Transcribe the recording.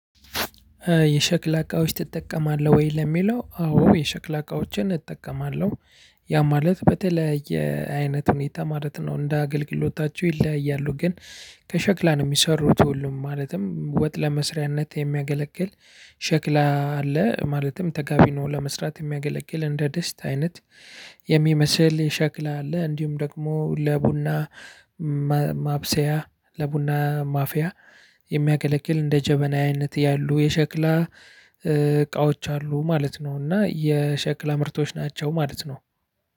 የሸክላ እቃዎች ትጠቀማለህ ወይ? ለሚለው፣ አዎ የሸክላ እቃዎችን እጠቀማለሁ። ያ ማለት በተለያየ አይነት ሁኔታ ማለት ነው። እንደ አገልግሎታቸው ይለያያሉ። ግን ከሸክላ ነው የሚሰሩት ሁሉም፣ ማለትም ለውጥ መስሪያነት የሚያገለግል ሸክላ አለ፣ ማለትም ተጋቢኖ ለመስራት የሚያገለግል እንደ ድስት አይነት የሚመስል ሸክላ አለ፣ እንዲሁም ደግሞ ለቡና ማ ማብሰያ ለቡና ማፍያ የሚያገለግል እንደ ጀበና አይነት ያሉ የሸክላ እቃዎች አሉ ማለት ነው። እና የሸክላ ምርቶች ናቸው ማለት ነው።